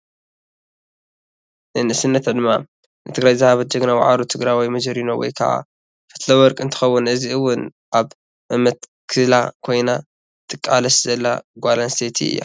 ናይ ንእሰነት ዕድምኣ ንትግራይ ዝሃበት ጅግና ዋዕሮ ትግረወይ መጀሪኖ ወይ ከ ፈትለወርቅ እተከውን ሕዚ እውን ኣብመመትክላ ኮይና ትቃላት ዘላ ጓል ኣነስተይቲ እያ።